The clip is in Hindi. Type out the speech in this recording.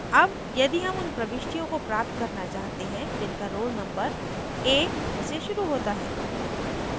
अब यदि हम उन प्रविष्टियों को प्राप्त करना चाहते हैं जिनका roll numbers a से शुरू होता है